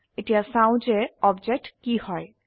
এতিয়া চাও যে অবজেক্ট কি হয়160